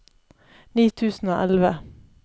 ni tusen og elleve